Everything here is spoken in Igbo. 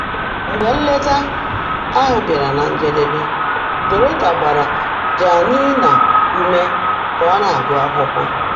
Mgbe nleta ahụ bịara na njedebe, Dorota gbara Janina ume ka ọ na-agụ akwụkwọ.